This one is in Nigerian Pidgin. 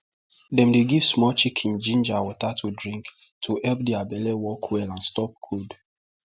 dem dey give small chicken ginger water to drink to help their belle work well and stop cold